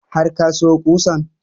Har ka sayo ƙusan?